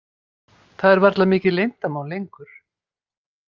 Það er varla mikið leyndarmál lengur.